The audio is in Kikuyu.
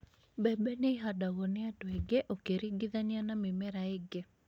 mbembe nĩ ihandagwo nĩandũ aingĩ ũkĩringithania na mĩmera ĩngĩ